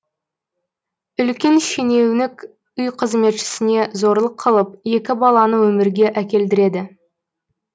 үлкен шенеунік үй қызметшісіне зорлық қылып екі баланы өмірге әкелдіреді